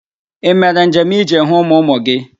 Ị mere njem ịje hụ ụmụ ụmụ gị?